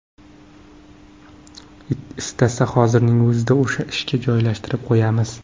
Istasa, hozirning o‘zida o‘sha ishga joylashtirib qo‘yamiz.